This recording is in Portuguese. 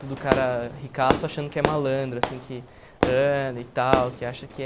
Todo cara ricaço achando que é malandro, assim, que anda e tal, que acha que é...